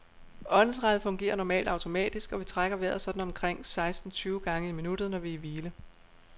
Åndedrættet fungerer normalt automatisk, og vi trækker vejret sådan omkring seksten tyve gange i minuttet, når vi er i hvile.